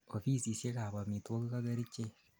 offisisiek ab omitwogik ak kerichek